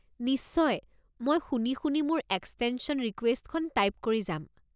নিশ্চয়, মই শুনি শুনি মোৰ এক্সটেনশ্যন ৰিকুৱেষ্টখন টাইপ কৰি যাম।